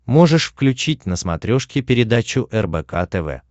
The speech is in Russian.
можешь включить на смотрешке передачу рбк тв